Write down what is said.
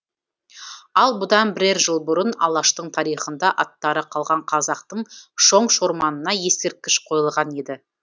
ал бұдан бірер жыл бұрын алаштың тарихында аттары қалған қазақтың шоң шорманына ескерткіш қойылған еді